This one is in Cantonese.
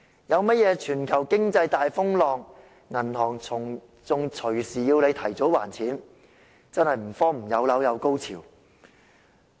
如果出現全球經濟大風浪，銀行更動輒要求提早還款，真的是所謂"有樓有高潮"。